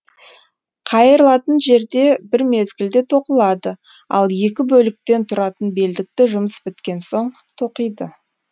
қайырлатын жерде бір мезгілде тоқылады ал екі бөліктен тұратын белдікті жұмыс біткен соң тоқиды